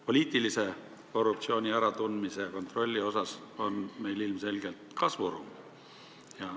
Poliitilise korruptsiooni kontrolli osas on meil ilmselgelt kasvuruumi.